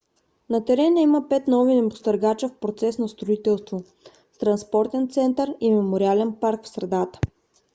на терена има пет нови небостъргача в процес на строителство с транспортен център и мемориален парк в средата